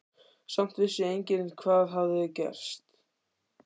Samt vissi enginn hvað hafði gerst.